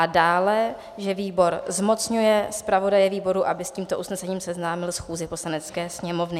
A dále, že výbor zmocňuje zpravodaje výboru, aby s tímto usnesením seznámil schůzi Poslanecké sněmovny.